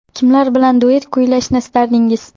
Kimlar bilan duet kuylashni istardingiz?